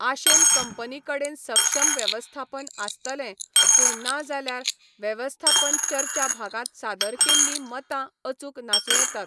आशेन कंपनी कडेन सक्षम वेवस्थापन आसतलें, पूण ना जाल्यार वेवस्थापन चर्चा भागांत सादर केल्लीं मतां अचूक नासूं येतात.